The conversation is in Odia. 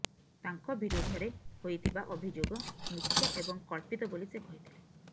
ତାଙ୍କ ବିରୋଧରେ ହୋଇଥିବା ଅଭିଯୋଗ ମିଥ୍ୟା ଏବଂ କଳ୍ପିତ ବୋଲି ସେ କହିଥିଲେ